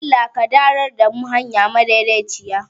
Allah ka darar da mu hanya ta daidaci